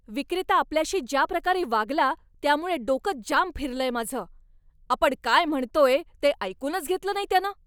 विक्रेता आपल्याशी ज्या प्रकारे वागला त्यामुळे डोकं जाम फिरलंय माझं, आपण काय म्हणतोय ते ऐकूनच घेतलं नाही त्यानं.